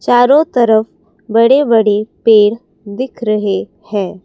चारों तरफ बड़े बड़े पेड़ दिख रहे है।